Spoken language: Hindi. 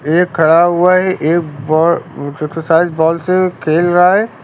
एक खड़ा हुआ है एक बा एक्सरसाइज बॉल से खेल रहा है।